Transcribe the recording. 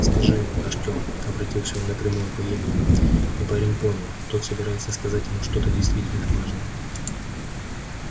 скажи артём обратился он напрямую по имени и парень понял тот собирается сказать ему что-то действительно важное